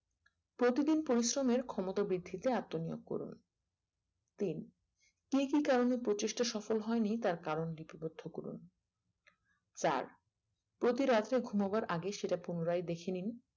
প্রতিদিন পরিশ্রমের ক্ষমতা বৃদ্ধিতে আত্ম নিয়োগ করুন তিন কে কি কারণে প্রচেষ্টা সফল হয়নি তার কারণ লিপিবদ্ধ করুন চার প্রতিরাত্রে ঘুমোবার আগে সেটা পুনরায় দেখে নিন